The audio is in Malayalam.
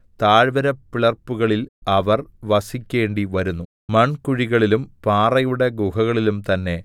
താഴ്വരപ്പിളർപ്പുകളിൽ അവർ വസിക്കേണ്ടിവരുന്നു മൺകുഴികളിലും പാറയുടെ ഗുഹകളിലും തന്നെ